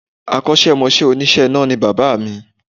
Akọ́sẹ́mọsẹ́ òníṣe iná ni bàbá mi